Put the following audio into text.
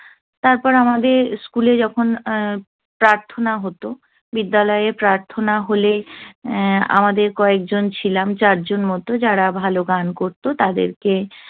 তারপর আমাদের school এ যখন প্রার্থনা হত, বিদ্যালয়ে প্রার্থনা হলে উহ আমাদের কয়েকজন ছিলাম, চারজন মত, যারা ভালো গান করত, তাদেরকে